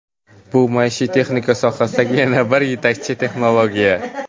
Bu maishiy texnika sohasidagi yana bir yetakchi texnologiya.